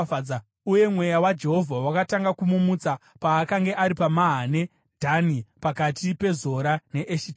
uye Mweya waJehovha wakatanga kumumutsa paakanga ari paMahane Dhani, pakati peZora neEshitaori.